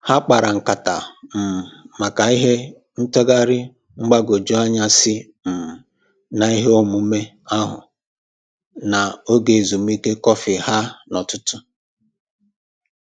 Ha kpara nkata um maka ihe ntụgharị mgbagwoju anya si um na ihe omume ahụ na oge ezumike kọfị ha na ụtụtụ